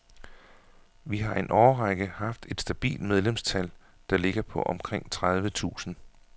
Vi har i en årrække haft et stabilt medlemstal, der ligger på omkring tredive tusind.